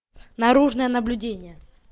наружное наблюдение